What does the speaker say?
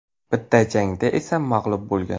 Bitta jangda esa mag‘lub bo‘lgan.